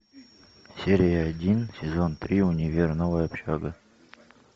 серия один сезон три универ новая общага